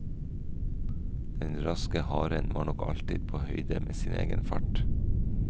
Den raske haren var nok alltid på høyde med sin egen fart.